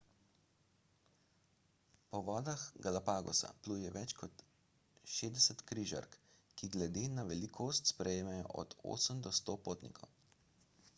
po vodah galapagosa pluje več kot 60 križark – ki glede na velikost sprejmejo od 8 do 100 potnikov